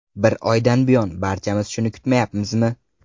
Bir oydan buyon barchamiz shuni kutmayapmizmi?